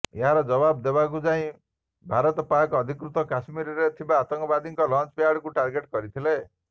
ଏହାର ଜବାବ ଦେବାକୁ ଯାଇ ଭାରତ ପାକ୍ ଅଧିକୃତ କଶ୍ମୀରରେ ଥିବା ଆତଙ୍କବାଦୀଙ୍କ ଲଞ୍ଚ ପ୍ୟାଡକୁ ଟାର୍ଗେଟ୍ କରିଥିଲା